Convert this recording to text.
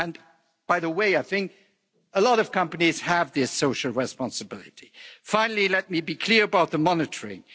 And by the way, I think a lot of companies have this social responsibility. Finally, let me be clear about the monitoring.